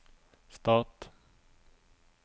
stat